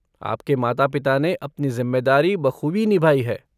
आपके माता पिता ने अपनी जिम्मेदारी बखूबी निभाई है।